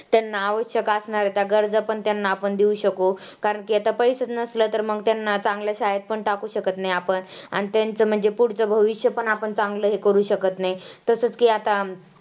त्यांना आवश्यक असणाऱ्या त्या गरजा पण त्यांना आपण देऊ शकू, कारण की आता पैसंच नसलं तर मग त्यांना चांगल्या शाळेत पण टाकू शकत नाही आपण आणि तेंचं म्हणजे पुढचं भविष्य पण आपण चांगलं हे करू शकत नाही. तसंच की आता